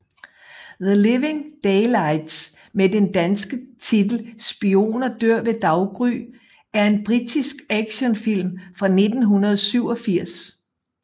The Living Daylights med den danske titel Spioner dør ved daggry er en britisk actionfilm fra 1987